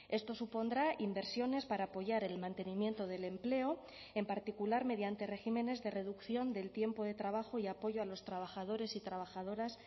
esto supondrá inversiones para apoyar el mantenimiento del empleo en particular mediante regímenes de reducción del tiempo de trabajo y apoyo a los trabajadores y trabajadoras